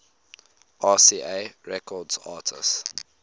rca records artists